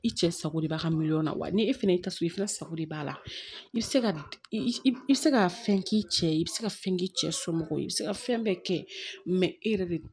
I cɛ sago de b'a ka miliyɔn na wa ni e fɛnɛ y'i ta sɔrɔ i fɛnɛ sago de b'a la i bi se ka i bi se ka fɛn k'i cɛ ye i bi se ka fɛn k'i cɛ somɔgɔw ye i bi se ka fɛn bɛɛ kɛ e yɛrɛ de